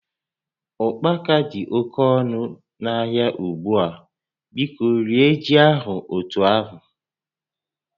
Ụkpaka dị oke ọnụ n'ahịa ugbu a, biko rie ji ahụ otu ahụ